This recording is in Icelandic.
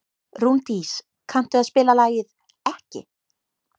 Rúndís, kanntu að spila lagið „Ekki“?